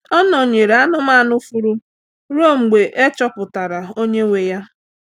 Ọ nọ̀nyerè anụ́manụ fùurù ruo mgbe e chọpụtara onye nwe ya.